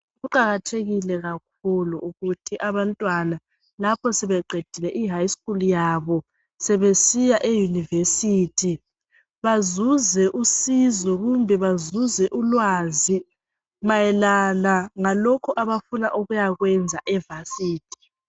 Kuqakathekile kakhulu ukuthi abantwana lapho sebeqedile eSekhondari yabo ,sebesiya eYunivesi, bazuze usizo kumbe bazuze ulwazi mayelana ngalokho abafuna ukuyakwenza eYunivesi.